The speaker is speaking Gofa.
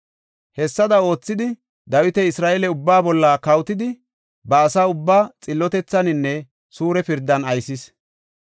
Hessada oothidi, Dawiti Isra7eele ubbaa bolla kawotidi ba asa ubbaa xillotethaninne suure pirdan aysis.